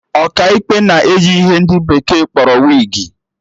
Ọkaikpe na-eyi ihe ndị bekee kpọrọ wigi